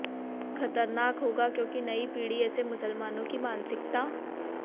खतरनाक होगा क्योकि नयी पीढ़ी ऐसे मुसलमानों की मानसिकता